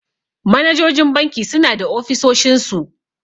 Manajojin banki suna da ofisoshin su.